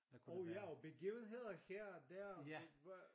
Og ja og begivenheder her og der og hvad